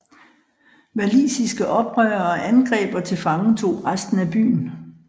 Walisiske oprørere angreb og tilfangetog resten af byen